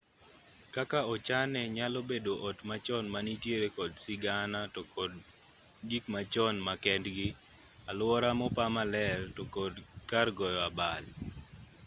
kaka ochane nyalo bedo ot machon manitiere kod sigana to kod gik machon ma kendgi alwora mopa maler to kod kar goyo abal